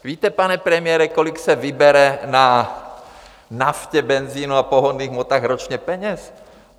Víte, pane premiére, kolik se vybere na naftě, benzinu a pohonných hmotách ročně peněz?